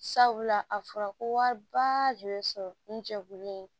Sabula a fɔra ko wariba jo bɛ sɔrɔ n jɛkulu in